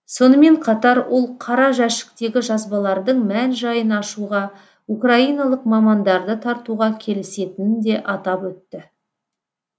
сонымен қатар ол қара жәшіктегі жазбалардың мән жайын ашуға украиналық мамандарды тартуға келісетінін де атап өтті